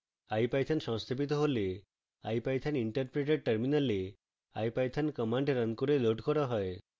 ipython সংস্থাপিত হলে ipython interpreter terminal ipython command running করে লোড করা হয়